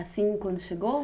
Assim, quando chegou?